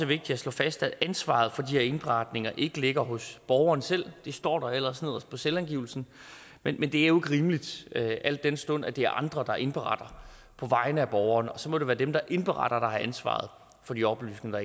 vigtigt at slå fast at ansvaret for de her indberetninger ikke ligger hos borgeren selv det står der ellers nederst på selvangivelsen men det er jo rimeligt al den stund at det er andre der indberetter på vegne af borgeren og så må det være dem der indberetter der har ansvaret for de oplysninger